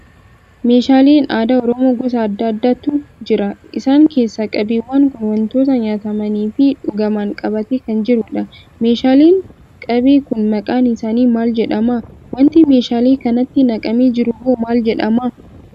Meeshaaleen aadaa Oromoo gosa adda addaatu jira. Essaan keessaa qabeewwan kun wantoota nyaatamanii fi dhugaman qabatee kan jirudha. Meeshaaleen qabee kun maqaan isaanii maal jedhama? waanti meeshaalee kanatti naqamee jiru hoo maal jedhama?